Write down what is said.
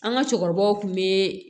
An ka cɛkɔrɔbaw kun be